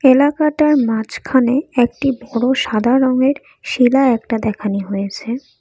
এলাকাটার মাঝখানে একটি বড় সাদা রঙের শেলা একটা দেখানি হয়েসে।